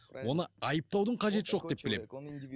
оны айыптаудың қажеті жоқ деп білемін